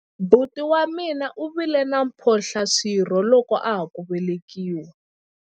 buti wa mina u vile na mphohlaswirho loko a ha ku velekiwa